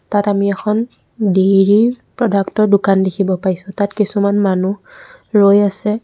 তাত আমি এখন ডেইৰী প্ৰডাক্টৰ দোকান দেখিব পাইছোঁ তাত কিছুমান মানুহ ৰৈ আছে।